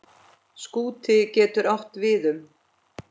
Skúti getur átt við um